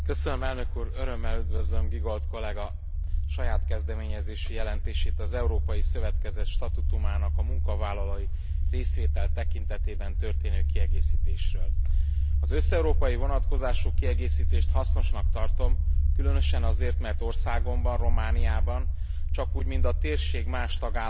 Örömmel üdvözlöm Giegold kolléga saját kezdeményezésű jelentését az európai szövetkezet statútumának a munkavállalói részvétel tekintetében történő kiegészítésről. Az összeurópai vonatkozású kiegészítést hasznosnak tartom, különösen azért, mert országomban, Romániában csakúgy mint a térség más tagállamaiban